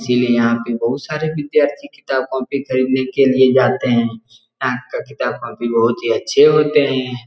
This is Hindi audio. इसलिए यहाँ पे बहुत सारे विद्यार्थी किताब कॉपी खरीदने के लिए जाते है यहां का किताब कॉपी बहुत ही अच्छे होते है।